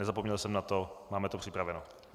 Nezapomněl jsem na to, máme to připraveno.